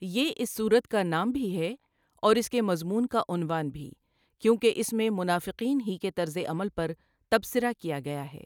یہ اس سورت کا نام بھی ہے اور اس کے مضمون کا عنوان بھی، کیونکہ اس میں منافقین ہی کے طرز عمل پر تبصرہ کیا گیا ہے۔